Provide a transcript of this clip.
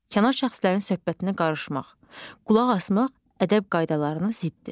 Kənar şəxslərin söhbətinə qarışmaq, qulaq asmaq ədəb qaydalarına ziddir.